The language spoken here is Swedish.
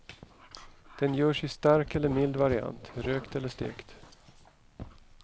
Den görs i stark eller mild variant, rökt eller stekt.